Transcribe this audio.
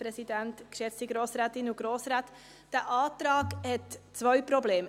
Dieser Antrag hat zwei Probleme.